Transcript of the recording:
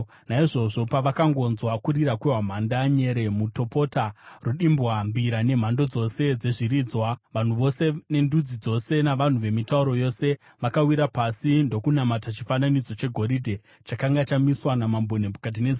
Naizvozvo, pavakangonzwa kurira kwehwamanda, nyere, mutopota, rudimbwa, mbira nemhando dzose dzezviridzwa, vanhu vose, nendudzi dzose navanhu vemitauro yose vakawira pasi ndokunamata chifananidzo chegoridhe chakanga chamiswa naMambo Nebhukadhinezari.